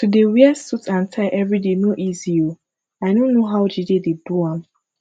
to dey wear suit and tie everyday no easy oo i no know how jide dey do am